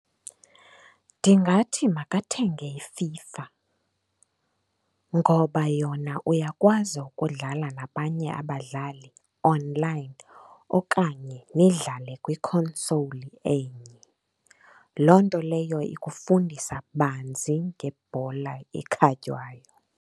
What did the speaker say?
Ndingathi makathenge iFIFA ngoba yona uyakwazi ukudlala nabanye abadlali onlayini okanye nidlale kwi-console enye. Loo nto leyo ikufundisa banzi ngebhola ekhatywayo.